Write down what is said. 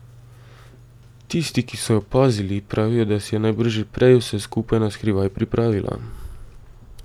Tisti, ki so jo pazili, pravijo, da si je najbrž že prej vse skupaj na skrivaj pripravila.